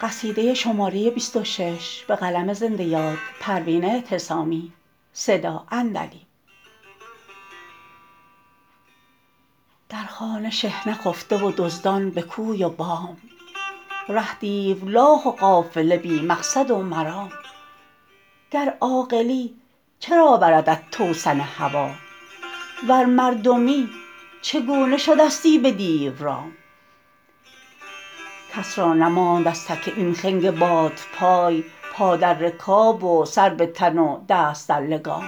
در خانه شحنه خفته و دزدان به کوی و بام ره دیولاخ و قافله بی مقصد و مرام گر عاقلی چرا بردت توسن هوی ور مردمی چگونه شده ستی به دیو رام کس را نماند از تک این خنگ بادپای پا در رکاب و سر به تن و دست در لگام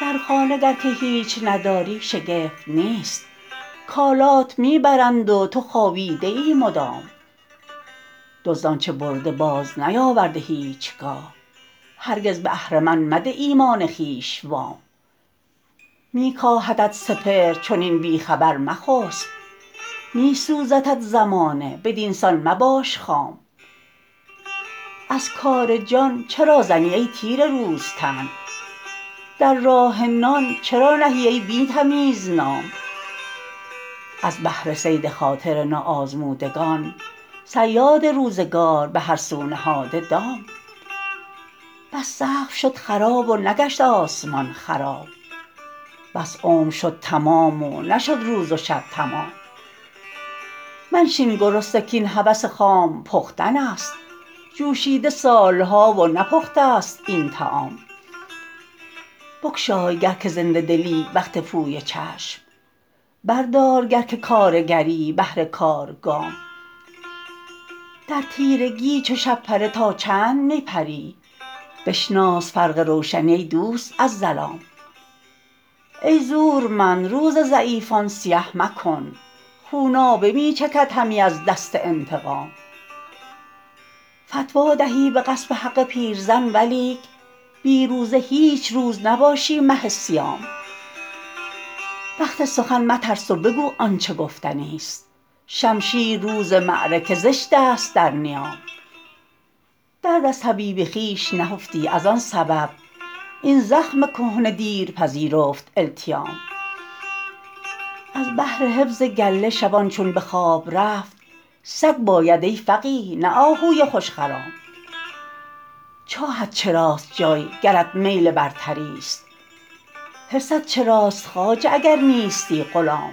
در خانه گر که هیچ نداری شگفت نیست کالات میبرند و تو خوابیده ای مدام دزد آنچه برده باز نیاورده هیچگاه هرگز به اهرمن مده ایمان خویش وام میکاهدت سپهر چنین بی خبر مخسب میسوزدت زمانه بدینسان مباش خام از کار جان چرا زنی ای تیره روز تن در راه نان چرا نهی ای بی تمیز نام از بهر صید خاطر ناآزمودگان صیاد روزگار به هر سو نهاده دام بس سقف شد خراب و نگشت آسمان خراب بس عمر شد تمام و نشد روز و شب تمام منشین گرسنه کاین هوس خام پختن است جوشیده سالها و نپخته ست این طعام بگشای گر که زنده دلی وقت پویه چشم بردار گر که کارگری بهر کار گام در تیرگی چو شب پره تا چند می پری بشناس فرق روشنی ای دوست از ظلام ای زورمند روز ضعیفان سیه مکن خونابه می چکد همی از دست انتقام فتوی دهی به غصب حق پیرزن ولیک بی روزه هیچ روز نباشی مه صیام وقت سخن مترس و بگو آنچه گفتنی است شمشیر روز معرکه زشت است در نیام درد از طبیب خویش نهفتی از آن سبب این زخم کهنه دیر پذیرفت التیام از بهر حفظ گله شبان چون به خواب رفت سگ باید ای فقیه نه آهوی خوشخرام چاهت چراست جای گرت میل برتریست حرصت چراست خواجه اگر نیستی غلام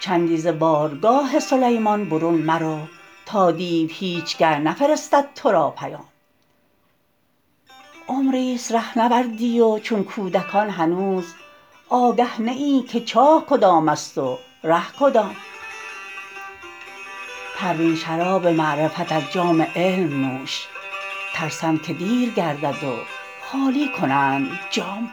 چندی ز بارگاه سلیمان برون مرو تا دیو هیچگه نفرستد تو را پیام عمریست رهنوردی و چون کودکان هنوز آگه نه ای که چاه کدام است و ره کدام پروین شراب معرفت از جام علم نوش ترسم که دیر گردد و خالی کنند جام